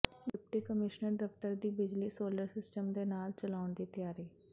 deputy commissioner ਦਫ਼ਤਰ ਦੀ ਬਿਜਲੀ ਸੋਲਰ ਸਿਸਟਮ ਦੇ ਨਾਲ ਚਲਾਉਣ ਦੀ ਤਿਆਰੀ